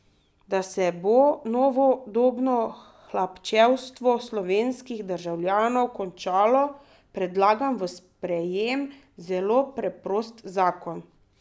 Da se bo novodobno hlapčevstvo slovenskih državljanov končalo, predlagam v sprejem zelo preprost zakon.